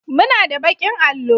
muna da bakin allo